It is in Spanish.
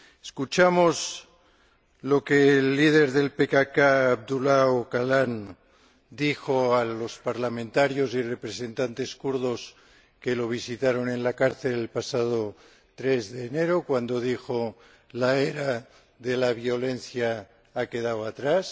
Escuchamos lo que el líder del PKK, Abdullah Öcalan, dijo a los parlamentarios y representantes kurdos que lo visitaron en la cárcel, el pasado 3 de enero La era de la violencia ha quedado atrás.